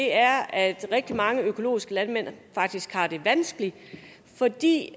er at rigtig mange økologiske landmand faktisk har det vanskeligt fordi